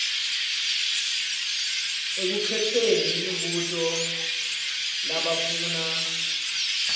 ekukhetseni imibuto labafuna